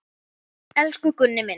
Elsku Gunni minn.